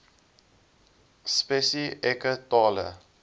spesi eke tale